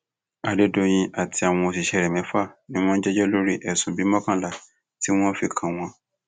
adédọyìn àti àwọn òṣìṣẹ rẹ mẹfà ni wọn ń jẹjọ lórí ẹsùn bíi mọkànlá tí wọn fi kàn wọn